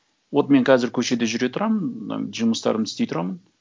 вот мен қазір көшеде жүре тұрамын жұмыстарымды істей тұрамын